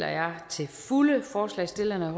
fulde forslagsstillernes